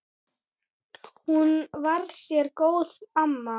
Hún var sérlega góð amma.